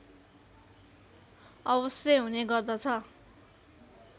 अवश्य हुने गर्दछ